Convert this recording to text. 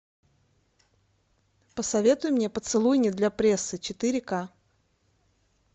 посоветуй мне поцелуй не для прессы четыре ка